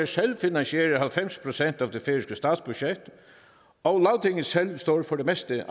selv finansierer halvfems procent af det færøske statsbudget og lagtinget selv står for det meste af